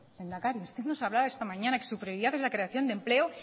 lehendakari usted nos hablaba esta mañana que su prioridad es la creación de empleo